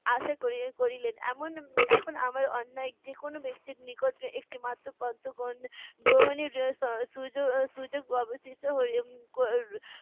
আশা করি~ করিলেন। এমন এখন আমার অন্যায় যেকোনো ব্যক্তির নিকট একটিমাত্র পত্র গ্রহণে গ্রহণের জন্য স~ সুযোগ সুযোগ অবশিষ্ট